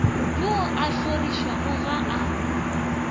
yo a hlorišwago ga a